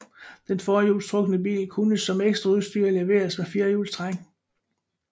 Den forhjulstrukne bil kunne som ekstraudstyr leveres med firehjulstræk